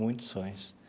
Muitos sonhos.